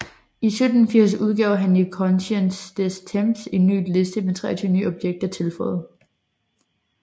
I 1780 udgav han i Connaissance des Temps en ny liste med 23 nye objekter tilføjet